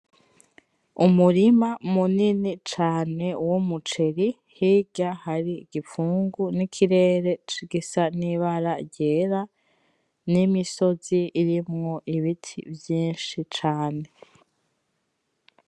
Umurima munini cane w umuceri hirya hari igipfungu nikirere gisa nibara ryera nimisozi irimwo ibiti vyinshi cane